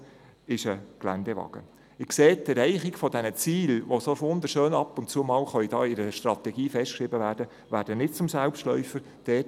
Sie sehen also, dass die Erreichung dieser Ziele, die so wunderschön und ab und zu mal in einer Strategie festgeschrieben werden können, nicht zum Selbstläufer werden.